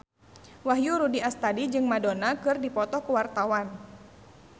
Wahyu Rudi Astadi jeung Madonna keur dipoto ku wartawan